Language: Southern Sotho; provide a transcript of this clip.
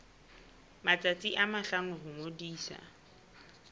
matsatsi a mahlano ho ngodisa